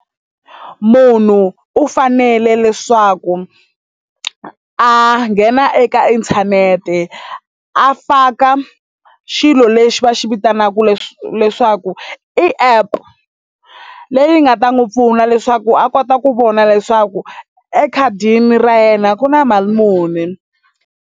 Munhu u fanele leswaku a nghena eka inthanete a faka xilo lexi va xi vitanaku leswi leswaku i app leyi nga ta n'wi pfuna leswaku a kota ku vona leswaku ekhadini ra yena ku na mali muni.